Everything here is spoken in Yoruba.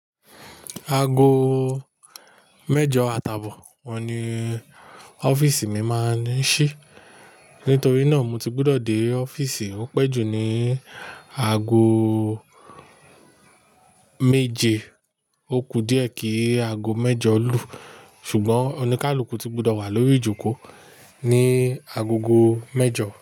Aago mẹ́jọ atàbò ọun ni ọ́fíìsì mi máa ń ṣí. Pe n torí náà mo ti gbọ́dọ̀ dé ọ́fíìsì òún pẹ́ jù ní aago méje. Ó kù díẹ̀ kì í aago mẹ́jọ lù. Ṣùgbọ́n oníkálukú ti gbọ́dọ̀ wà lórí ijoko ní agogo mẹ́jọ.